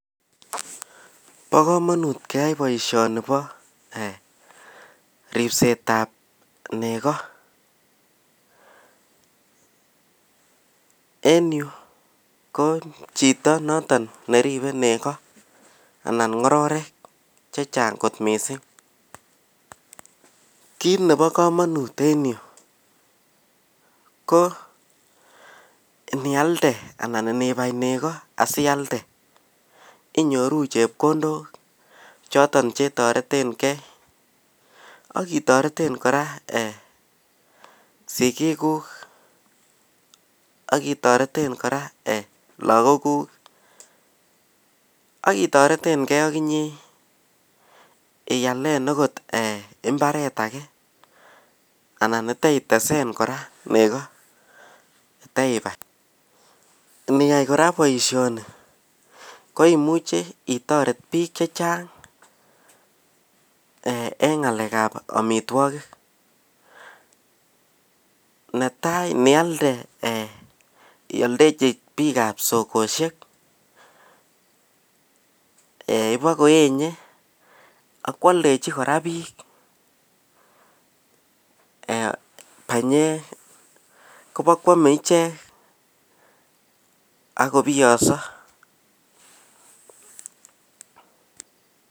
Bo komonut keyai boishoni bo ripsetab neko en yu ko chito noton neribei neko anan ng'orotek chechang' kot mising' kiit nebo komonut en yu ko nialde anan ibai neko asialde inyoru chepkondok choton chetoretenhei akitoreten kora sikikuk akitoreten kora lakokuk akitoretengei akinye iyalen akot imbaret age anan iteitesen kora neko teibai niyai kora boishoni ko imuuche itoret biik chechang' eng' ng'alekab omitwokik netai nialde ioldeji biikab sokoshek ibakoenye akwildeji kora biik panyek kobikwomei ichek akobiyong'so